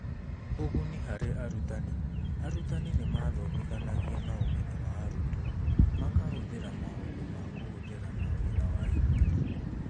ũguni harĩ arũtani: Arutani nĩ maathomithanagia na ũmenyo wa arutwo, makahũthĩra maũndũ ma kũhũthĩra na wĩra wa ikundi.